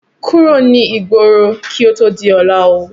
Kúrò ní igbóro kí ó tó di ọlá ó!